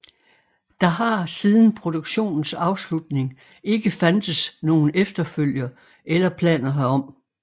Der har siden produktionens afslutning ikke fandtes nogen efterfølger eller planer herom